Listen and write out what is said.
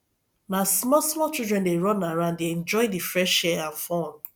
na small small children dey run around dey enjoy the fresh air and fun